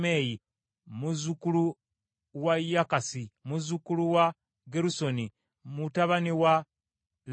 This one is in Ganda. muzzukulu wa Yakasi, muzzukulu wa Gerusoni, mutabani wa Leevi.